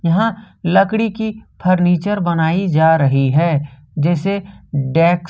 यहां लकड़ी की फर्नीचर बनाई जा रही है जैसे डेस्क ।